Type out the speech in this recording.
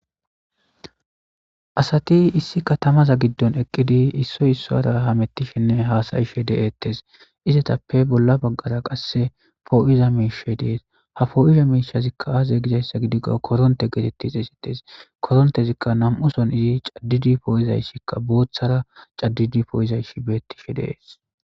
Asati issi katamaza giddon eqqidi issoy issora hamettishenne haasayishe de'eettes izatappe bolla baggara qasse poo'iza miishe dees ha foo'iza miishazikka aaze gizayssa gidikko koronte geetettis esites korontezikka nam'uson izi caddidi poo'izayssikka booththara caddidi pooyizaysh beettishe dees